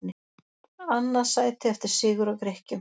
Annað sæti eftir sigur á Grikkjum